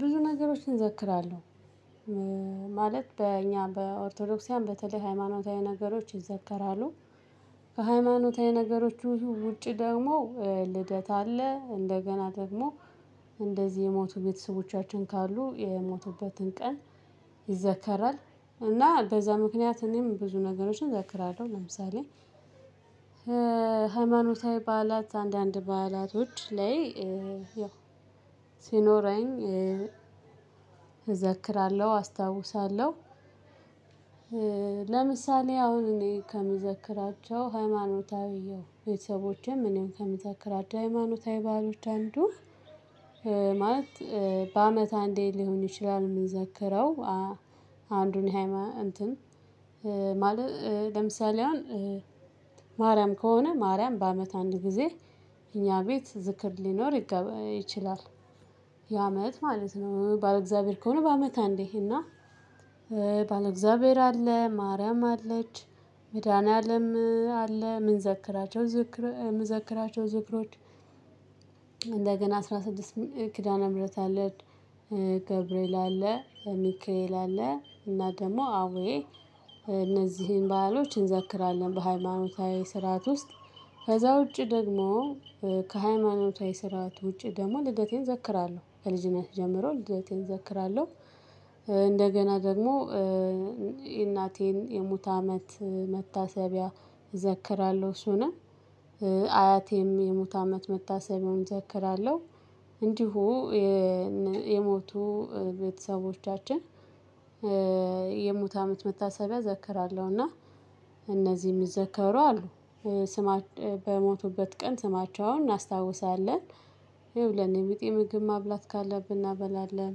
ብዙ ነገሮችን እዘክራለሁ ማለት በእኛ በኦርቶዶክሳውያን በተለይ ሃይማኖታዊ ነገሮች ይዘከራሉ። ከሃይማኖታዊ ነገሮቹ ብዙ ውጪ ደግሞ ልደት አለ። እንደገና ደግሞ እንደዚህ የሞቱ ቤተሰቦቻችን ካሉ የሞቱበትን ቀን ይዘከራል። እና በዛ ምክንያት እኔም ብዙ ነገሮችን እዘክራለሁ ለምሳሌ ሃይማኖታዊ በዓላት አንዳንድ በዓላቶች ላይ ያው ሲኖረኝ እዘክራለሁ አስታውሳለሁ። ለምሳሌ አሁን እኔ ከምዘክራቸው ሃይማኖታዊ ቤተሰቦቼም እኔም ከምተክራቸው ሃይማኖታዊ ባህሎች አንዱ ማለት በአመት አንዴ ሊሆን ይችላል የምንዘከረው። አንዱን የሃይማ እንትን። ለምሳሌ አሁን ማርያም ከሆነ ማርያም በአመት አንድ ጊዜ እኛ ቤት ዝክር ሊኖር ይችላል። የአመት ማለት ነው ባለእግዚአብሔር ከሆነ በአመት አንዴ እና ባለእግዚአብሔር አለ ማርያም አለች መድኃኒዓለም አለ ምን ዘክራቸው ዝክር ምንዘክራቸው ዝክሮች። አስራ ስድስት ኪዳነ ምህረት አለ። ገብርኤል አለ ሚካኤልአለ እና ደግሞ አቡየ እነዚህን ባህሎች እንዘክራለን በሃይማኖታዊ ስርዓት ውስጥ። ከዛ ውጪ ደግሞ ከሃይማኖታዊ ስርዓት ውጪ ደግሞ ልደቴን ዘክራለሁ ከልጅነት ጀምሮ ልደቴን እዘክራለሁ። እንደገና ደግሞ እናቴን የሙተ አመት መታሰቢያ እዘክራለሁ እሱንም አያቴም የሙት አመት መታሰቢያውም እዘክራለሁ። እንዲሁ የሞቱ ቤተሰቦቻችን የሙት አመት መታሰቢያ እዘክራለሁ። እና እነዚህ የሚዘከሩ አሉ ስማ በሞቱበት ቀን ስማቸው አሁን እናስታውሳለን ይኸው ለኔ ቢጤ ምግብ ማብላት ካለብን እናበላለን።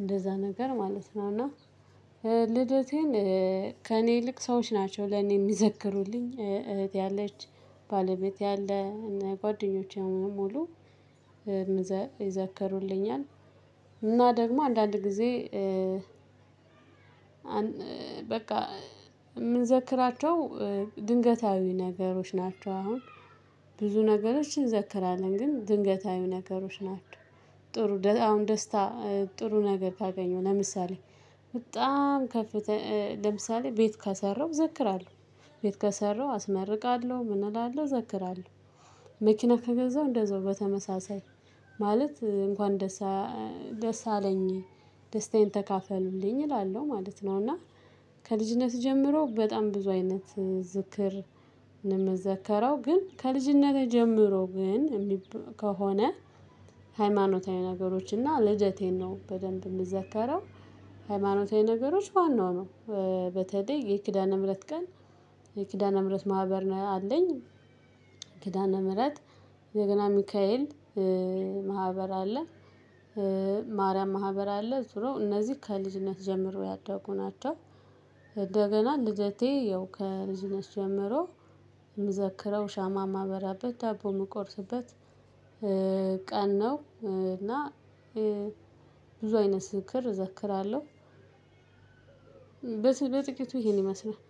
እንደዛ ነገር ማለት ነው። እና ልደቴን ከእኔ ይልቅ ሰዎች ናቸው ለእኔ የሚዘክሩልኝ እህት ያለች ባለቤት ያለ ጓደኞቼ ሙሉ ይዘከሩልኛል። እና ደግሞ አንዳንድ ጊዜ በቃ የምንዘክራቸው ድንገታዊ ነገሮች ናቸው። አሁን ብዙ ነገሮችን ዘክራለን ግን ድንገታዊው ነገሮች ናቸው። ጥሩ አሁን ደስታ ጥሩ ነገር ካገኘው ለምሳሌ በጣም ከፍተ ለምሳሌ ቤት ካሰራው ዘክራለሁ። ቤት ከሰራው አስመርቃለሁ ምን እላለሁ ዘክራለሁ። መኪና ከገዛው እንደዛው በተመሳሳይ ማለት እንኳን ደስ አለኝ ደስታዬን ተካፈሉልኝ እላለሁ ማለት ነው። እና ከልጅነት ጀምሮ በጣም ብዙ አይነት ዝክር ነው የምዘከረው። ግን ከልጅነቴ ጀምሮ ግን ከሆነ ሃይማኖታዊ ነገሮች እና ልደቴን ነው በደንብ የምዘከረው። ሃይማኖታዊ ነገሮች ዋናው ነው በተለይ የኪዳነ ምህረት ቀን የኪዳነ ምህረት ማህበር ነው አለኝ። ኪዳነ ምህረት ደግሞ ሚካኤል ማህበር አለ። ማርያም ማህበር አለ ዙሮ እነዚህ ከልጅነት ጀምሮ ያደጉ ናቸው። እንደገና ልደቴ ያው ከልጅነት ጀምሮ የምዘክረው ሻማ ማበራበት ዳቦ የምቆርስበት ቀን ነው። እና ብዙ አይነት ዝክር እዘክራለሁ። በጥቂቱ ይሄን ይመስላል